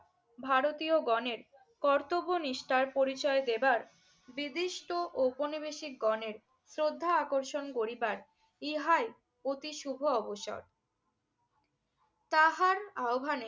ভারতীয়গণের কর্তব্যনিষ্ঠার পরিচয় দেবার দ্বিবিষ্ট ঔপনিবেশিকগণের শ্রদ্ধা আকর্ষণ করিবার ইহাই অতি শুভ অবসর। তাহার আহবানে